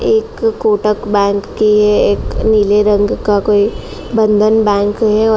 एक कोटक बैंक के एक नीले रंग का कोई बंधन बैंक है।